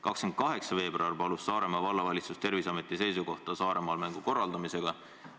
28. veebruaril palus Saaremaa Vallavalitsus Terviseameti seisukohta Saaremaal mängude korraldamise kohta.